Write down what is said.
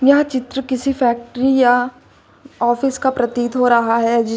यह चित्र किसी फैक्ट्री या ऑफिस का प्रतीत हो रहा है जीस--